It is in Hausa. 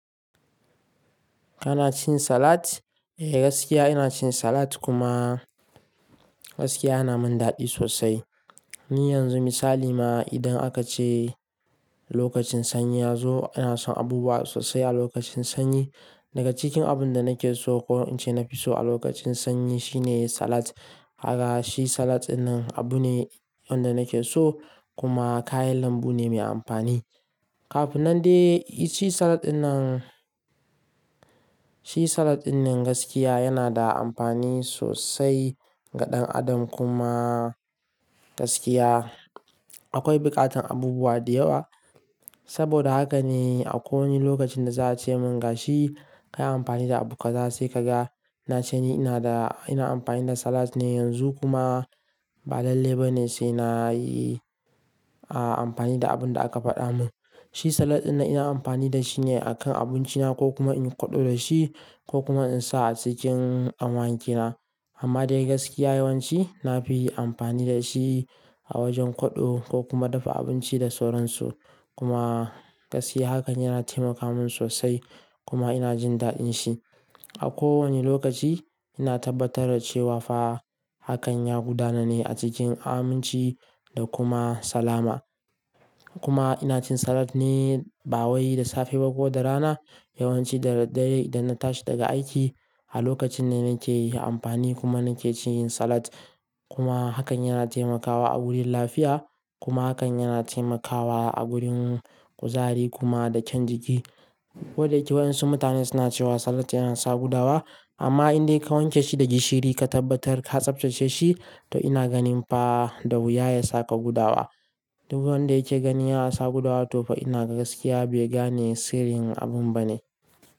Kana cin salad? Eh, gaskiya ina cin salad kuma gaskiya yana min daɗi sosai. Ni yanzu misali ma idan aka ce lokacin sanyi ya zo, ina son abubuwa sosai a lokacin sanyi. Daga cikin abun da nake so ko in ce na fi so a lokacin sanyi shine salad. Haka shi salad dinnan abu ne wanda nake so kuma kayan lambu ne mai amfani. Kafin nan dai shi salad dinnan, shi salad dinnan gaskiya yana da amfani sosai ga ɗan adam kuma gaskiya akwai buƙatar abubuwa da yawa. Saboda haka ne a kowane lokacin da za a ce mun gashi, kayi amfani da abu kaza sai ka ga. Na ce ni ina da, ina amfani da salad ne yanzu kuma ba lalle ba ne sai na yi, a, amfani da abin da aka faɗa mun. Shi salad dinnan ina amfani da shi ne a kan abinci na ko kuma in kwaɗo da shi ko kuma in sa a cikin awaki na. Amma dai gaskiya yawanci na fi yin amfani da shi a wajen kwaɗo ko kuma dafa abinci da sauransu. Kuma gaskiya hakan yana taimaka mun sosai kuma ina jin daɗin shi. A kowane lokaci ina tabbatar da cewa fa hakan ya gudana ne a cikin aminci da kuma salama. Kuma ina cin salad ne ba wai da safe ba ko da rana. Yawanci da dare idan na tashi daga aiki, a lokacin ne nake yi amfani kuma nake cin salad. Kuma hakan yana taimakawa a wurin lafiya kuma hakan yana taimakawa a wurin kuzari kuma da kyan jiki. Waɗan su mutane suna cewa salad yana sa gudawa amma in dai ka wanke shi da gishiri ka tabbatar ka tsaftace shi, to ina ganin fa da wuya ya sa ka gudawa. Duk wanda yake gani ya sa gudawa to fa ina gaskiya bai gane sirrin abun ba ne.